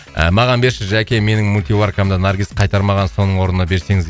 ы маған берші жәке менің мультиваркамды наргиз қайтармаған соның орнына берсеңіз